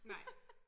Nej